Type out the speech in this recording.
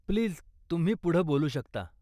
Please, तुम्ही पुढं बोलू शकता.